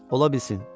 Ola bilsin.